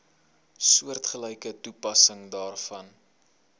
soortgelyke toepassing daarvoor